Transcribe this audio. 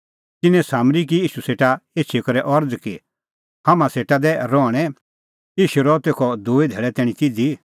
तिन्नैं सामरी की ईशू सेटा एछी करै अरज़ कि हाम्हां सेटा दै रहणैं ईशू रहअ तेखअ दूई धैल़ै तैणीं तिधी